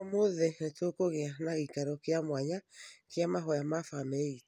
Ũmũthĩ nĩtũgũkĩgĩa na gĩĩkaro kĩa mwanya kĩa mahoya ma familĩ itũ